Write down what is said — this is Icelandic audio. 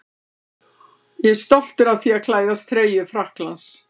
Ég er stoltur af því að klæðast treyju Frakklands.